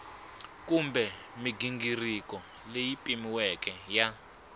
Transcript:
kumbe mighingiriko leyi pimiweke ya